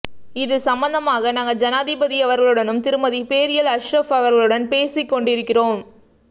இது சம்பந்தமாக நாங்கள் ஜனாதிபதியவர்களுடனும் திருமதி பேரியல் அஷ்ரஃப் அவர்களுடன் பேசிக் கொண்டிருக்கின்றோம்